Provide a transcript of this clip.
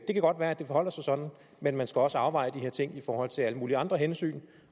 det kan godt være at det forholder sig sådan men man skal også afveje de her ting i forhold til alle mulige andre hensyn